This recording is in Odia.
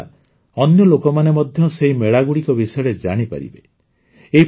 ୟାଦ୍ୱାରା ଅନ୍ୟ ଲୋକମାନେ ମଧ୍ୟ ସେହି ମେଳାଗୁଡ଼ିକ ବିଷୟରେ ଜାଣିପାରିବେ